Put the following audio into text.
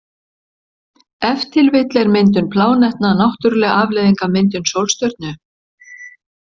Ef til vill er myndun plánetna náttúruleg afleiðing af myndun sólstjörnu.